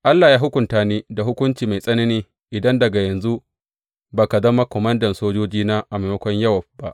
Allah yă hukunta ni, da hukunci mai tsanani, idan daga yanzu ba ka zama komandan sojojina a maimakon Yowab ba.’